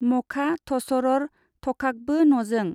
मखा- थसरर थखाखबो नजों?